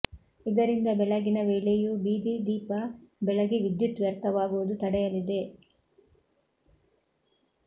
ಇದರಿಂದ ಬೆಳಗಿನ ವೇಳೆಯೂ ಬೀದಿ ದೀಪ ಬೆಳಗಿ ವಿದ್ಯುತ್ ವ್ಯರ್ಥವಾಗುವುದು ತಡೆಯಲಿದೆ